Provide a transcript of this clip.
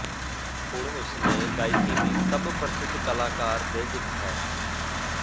ਹੁਣ ਉਸ ਨੇ ਗਾਇਕੀ ਦੀ ਸਭ ਪ੍ਰਸਿੱਧ ਕਲਾਕਾਰ ਦੇ ਇੱਕ ਹੈ